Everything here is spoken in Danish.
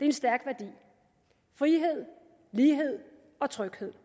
en stærk værdi frihed lighed og tryghed